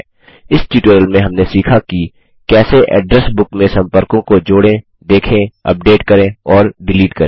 इस ट्यूटोरियल में हमने सीखा कि कैसे एड्रेस बुक में सम्पर्कों को जोड़ें देखें अपडेट करें और डिलीट करें